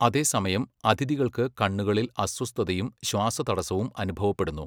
അതേസമയം, അതിഥികൾക്ക് കണ്ണുകളിൽ അസ്വസ്ഥതയും ശ്വാസതടസ്സവും അനുഭവപ്പെടുന്നു.